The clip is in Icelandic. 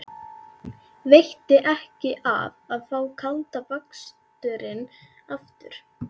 Veitti ekki af að fá kalda baksturinn aftur.